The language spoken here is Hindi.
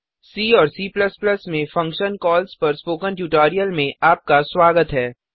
सी और C में फंक्शन्स कॉल्स पर स्पोकन ट्यूटोरियल में आपका स्वागत है